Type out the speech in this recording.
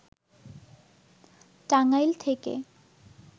টাঙ্গাইল থেকে